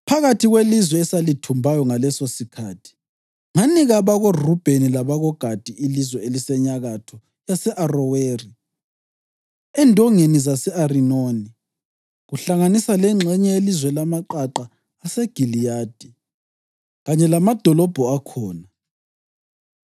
“Phakathi kwelizwe esalithumbayo ngalesosikhathi, nganika abakoRubheni labakoGadi ilizwe elisenyakatho yase-Aroweri endongeni zase-Arinoni, kuhlanganisa lengxenye yelizwe lamaqaqa aseGiliyadi, kanye lamadolobho akhona.